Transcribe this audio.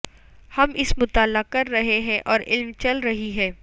ہم اس مطالعہ کر رہے ہیں اور عمل چل رہی ہے